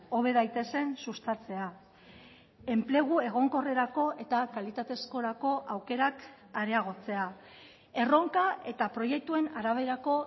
hobe daitezen sustatzea enplegu egonkorrerako eta kalitatezkorako aukerak areagotzea erronka eta proiektuen araberako